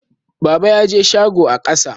Baba ya je shago a ƙafa.